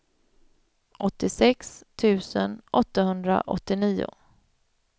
åttiosex tusen åttahundraåttionio